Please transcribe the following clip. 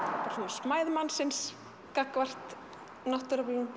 smæð mannsins gagnvart náttúruöflunum